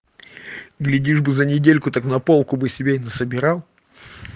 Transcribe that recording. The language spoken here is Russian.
глядишь бы за недельку так на полку бы себе и на собирал